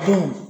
Don